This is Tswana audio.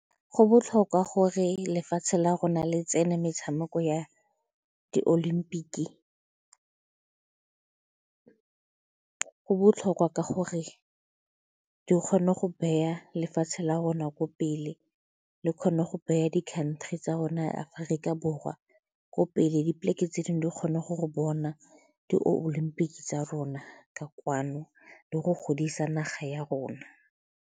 Go botlhokwa gore lefatshe la rona le tsene metshameko ya di-olympic-e. Go botlhokwa ka gore di kgone go beya lefatshe la rona kwa pele, le kgone go beya di-country tsa rona ya Aforika Borwa ko pele, dipoleke tse dingwe di kgone go bona di-olympics tsa rona ka kwano le go godisa naga ya rona.